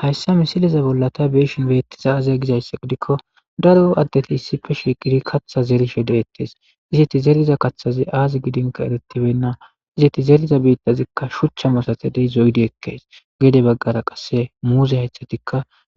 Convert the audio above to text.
Hayssa missileza bolla ta beishin bettizay aaze gizayssa giidikko daaro addetti issippe shiqqidi kaththa zerishe dettes izzeti zeeriza kaththazi aazi gidinkka eeretibeynna izzeti zeeriza biittazikka shuucha massatidi zoiidi ekkes geed baggara qasse muuze haaythati